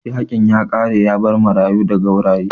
Yaƙin ya ƙare yabar marayu da gauraye